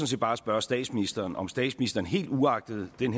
set bare spørge statsministeren om statsministeren helt uagtet den